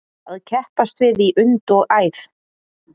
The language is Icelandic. Að keppast við í und og æð